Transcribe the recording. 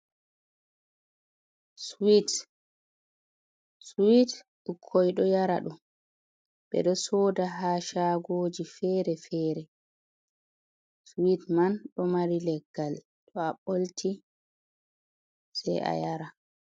Swit. Swit, bukkoi ɗo yara ɗum. Ɓe ɗo soda ha shaagoji fere-fere. Swit man ɗo mari leggal, to a ɓolti sai a yara.